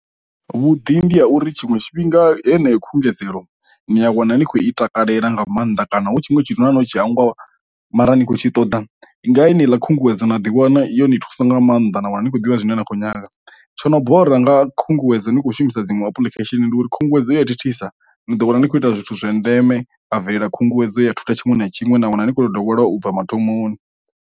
Vhuḓi ndi ha uri tshiṅwe tshifhinga heneyo khungedzelo ni a wana ni khou i takalela nga maanḓa kana hu tshiṅwe tshithu na ṋotshi hangwa mara ni khou tshi ṱoḓa, nga tsini ḽa khunguwedzo na ḓiwana iyo ni thusa nga maanḓa na wana ni khou ḓivha zwine na khou nyaga, tsho no bora nga khunguwedzo ni kho shumisa dziṅwe apulikhesheni ndi uri khunguwedzo ya thithisa ni ḓo wana ni khou ita zwithu zwa ndeme a bvelela khunguwedzo ya thutha tshiṅwe na tshiṅwe na wana ni kho ḓo dovha lwa ubva mathomoni.